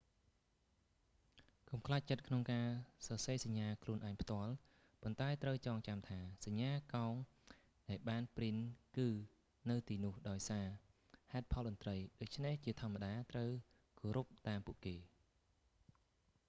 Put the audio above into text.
កុំខ្លាចចិត្តក្នុងការសរសេរសញ្ញាខ្លួនឯងផ្ទាល់ ប៉ុន្តែត្រូវចងចាំថាសញ្ញាកោងដែលបានព្រីនគឺនៅទីនោះដោយសារ ហេតុផលតន្រ្តី ដូច្នេះជាធម្មតាត្រូវគោរពតាមពួកគេ